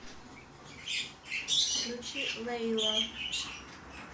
включи лейла